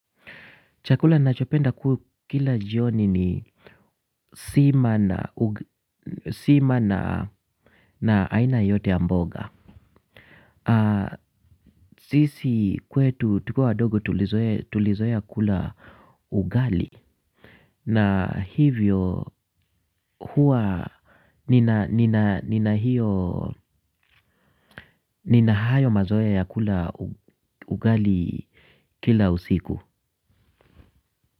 Chakula nachopenda kukila jioni ni sima na aina yote ya mboga. Sisi kwetu tukiwa wadogo tulizoea kula ugali. Na hivyo huwa nina nina hayo mazoea ya kula ugali kila usiku.